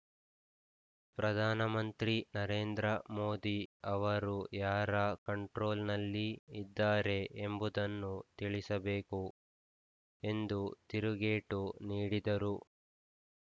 ಪ್ರಧಾನಮಂತ್ರಿ ನರೇಂದ್ರ ಮೋದಿ ಅವರು ಯಾರ ಕಂಟ್ರೋಲ್‌ನಲ್ಲಿ ಇದ್ದಾರೆ ಎಂಬುದನ್ನು ತಿಳಿಸಬೇಕು ಎಂದು ತಿರುಗೇಟು ನೀಡಿದರು